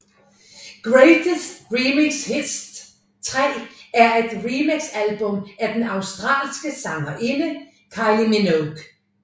Greatest Remix Hits 3 er et remixalbum af den australske sangerinde Kylie Minogue